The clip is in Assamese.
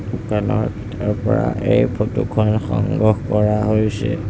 দোকানত এই ফটোখন সংগ্ৰহ কৰা হৈছে।